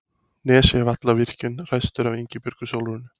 Nesjavallavirkjun ræstur af Ingibjörgu Sólrúnu